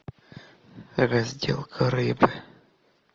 разделка рыбы